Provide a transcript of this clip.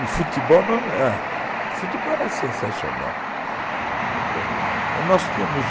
O futebol era sensacional. Nós tínhamos